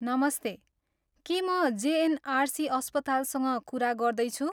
नमस्ते! के म जेएनआरसी अस्पतालसँग कुरा गर्दैछु?